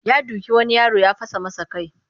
Ya doki wani yaro ya fasa masa kai